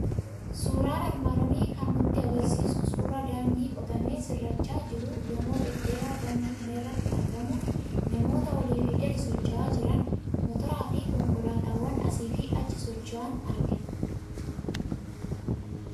Suuraan armaan olii kan inni nutti argisiisu suuraa daandii qotamee sirrachaa jiru, gamoo dhedheeraa daandii kana irratti argamuu, namoota oliif gadi socho'aa jiran, motoraa fi konkolaataawwan asiif achi socho'an argina.